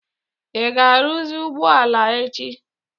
ị ga-arụzi ụgbọ ala a echi?